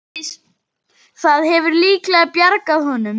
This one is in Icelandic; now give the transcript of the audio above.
Það hefur líklega bjargað honum.